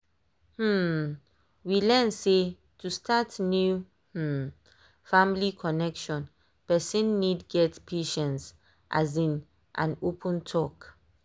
um we learn sey to start new um family connection person need get patience um and open talk.